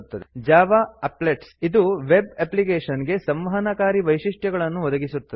Java applets Java applets ಇದು web application ಗೆ ಸಂವಹನಕಾರಿ ವೈಶಿಷ್ಟ್ಯಗಳನ್ನು ಒದಗಿಸುತ್ತದೆ